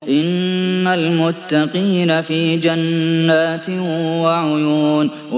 إِنَّ الْمُتَّقِينَ فِي جَنَّاتٍ وَعُيُونٍ